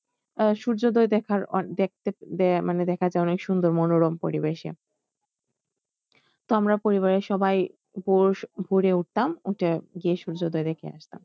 আহ সূর্যোদয় দেখার দেখতে মানে দেখার যে অনেক সুন্দর মনোরম পরিবেশে তো আমরা পরিবারের সবাই ভোরে উঠতাম উঠে গিয়ে সূর্যোদয় দেখে আসতাম